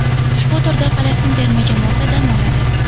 Ushbu turda Falastin terma jamoasi dam oladi.